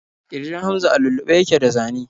Ƙirjin Hamza a lullube yake da zane.